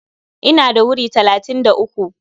Ina da wuri talatin da uku.